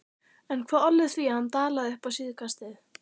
En hvað olli því að hann dalaði upp á síðkastið?